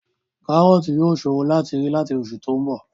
Kárọ̀ọ̀tì yóò ṣòro láti rí láti oṣù tí ó ń bọ̀